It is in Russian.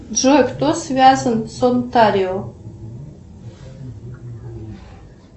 джой кто связан с онтарио